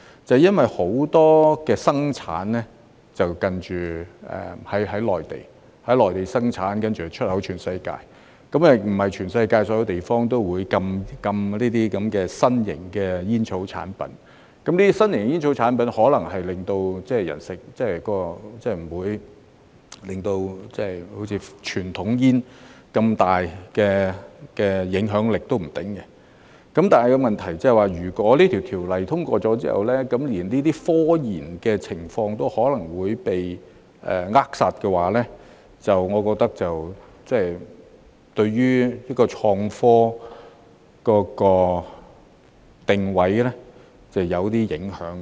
正因為很多生產是在內地進行，然後出口到全世界，不是全世界所有地方也會禁止這些新型的煙草產品，這些新型的煙草產品，可能不會好像傳統煙那樣，產生那麼大的影響力，但問題是，如果《2019年吸煙條例草案》通過之後，連這些科研活動可能也會被扼殺，我覺得對於創科定位會有些影響。